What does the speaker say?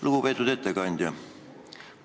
Lugupeetud ettekandja!